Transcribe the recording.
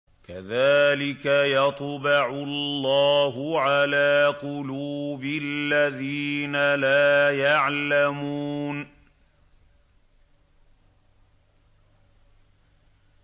كَذَٰلِكَ يَطْبَعُ اللَّهُ عَلَىٰ قُلُوبِ الَّذِينَ لَا يَعْلَمُونَ